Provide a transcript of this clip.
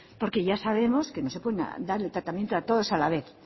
porque ya sabemos que no se puede dar el tratamiento a todos a la vez